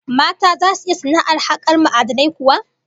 Mata zasu iya sana'ar hakar ma'adinai kuwa?